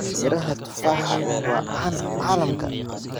Midhaha tufaha waa caan caalamka.